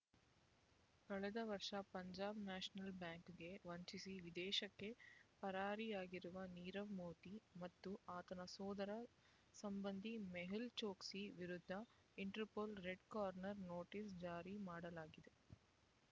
ಕಳೆದ ವರ್ಷ ಪಂಜಾಬ್ ನ್ಯಾಷನಲ್ ಬ್ಯಾಂಕ್‌ಗೆ ವಂಚಿಸಿ ವಿದೇಶಕ್ಕೆ ಪರಾರಿಯಾಗಿರುವ ನೀರವ್ ಮೋದಿ ಮತ್ತು ಆತನ ಸೋದರ ಸಂಬಂಧಿ ಮೆಹುಲ್ ಚೊಕ್ಸಿ ವಿರುದ್ಧ ಇಂಟರ್‌ಪೋಲ್ ರೆಡ್ ಕಾರ್ನರ್ ನೋಟಿಸ್ ಜಾರಿ ಮಾಡಲಾಗಿದೆ